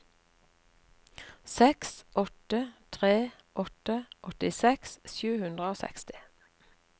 seks åtte tre åtte åttiseks sju hundre og seksti